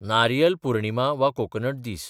नारियल पुर्णिमा वा कोकनट दीस